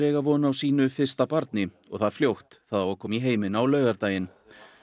eiga von á sínu fyrsta barni og það fljótt það á að koma í heiminn á laugardaginn